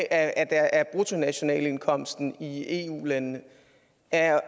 af bruttonationalindkomsten i eu landene er